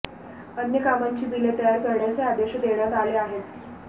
अन्य कामांची बिले तयार करण्याचे आदेश देण्यात आले आहेत